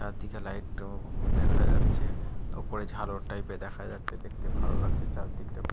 চারদিকে লাইট উ দেখা যাচ্ছে ওপরে ঝালর টাইপ -এর দেখা যাচ্ছে দেখতে ভালো লাগছে চারদিকটা।